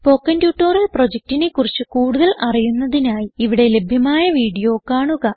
spoken tutorial പ്രൊജക്റ്റിനെ കുറിച്ച് കൂടുതൽ അറിയുന്നതിനായി ഇവിടെ ലഭ്യമായ വീഡിയോ കാണുക